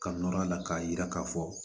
Ka nɔrɔ a la k'a yira k'a fɔ